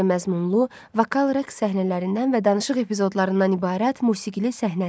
Komediya məzmunlu vokal rəqs səhnələrindən və danışıq epizodlarından ibarət musiqili səhnə əsəri.